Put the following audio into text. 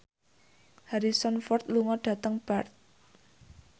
Harrison Ford lunga dhateng Perth